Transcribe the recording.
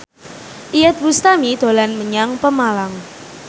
Iyeth Bustami dolan menyang Pemalang